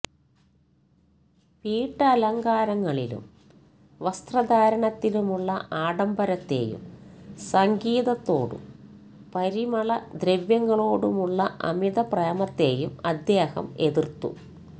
വീട്ടലങ്കാരങ്ങളിലും വസ്ത്രധാരണത്തിലുമുള്ള ആഡംബരത്തേയും സംഗീതത്തോടും പരിമളദ്രവ്യങ്ങളോടുമുള്ള അമിതപ്രേമത്തേയും അദ്ദേഹം എതിർത്തു